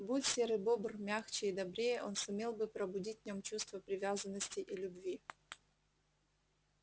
будь серый бобр мягче и добрее он сумел бы пробудить в нём чувство привязанности и любви